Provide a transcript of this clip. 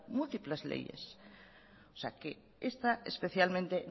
múltiples leyes o sea que esta especialmente